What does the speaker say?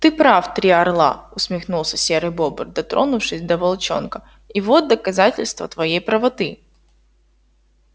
ты прав три орла усмехнулся серый бобр дотронувшись до волчонка и вот доказательство твоей правоты